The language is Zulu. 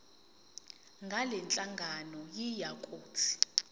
ngalenhlangano yiya kut